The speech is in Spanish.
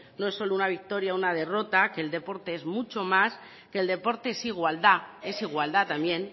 no es solo una victoria una derrota que el deporte es mucho más que el deporte es igualdad es igualdad también